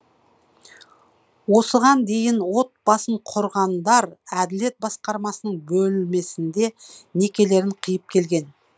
осыған дейін отбасын құрғандар әділет басқармасының бөлмесінде некелерін қиып келген